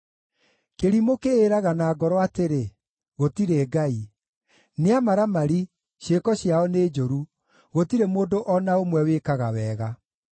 Kĩrimũ kĩĩraga na ngoro atĩrĩ, “Gũtirĩ Ngai.” Nĩ amaramari, ciĩko ciao nĩ njũru; gũtirĩ mũndũ o na ũmwe wĩkaga wega.